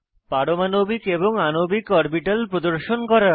পারমাণবিক এবং আণবিক অরবিটাল প্রদর্শন করা